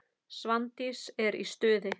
Svandís er í stuði.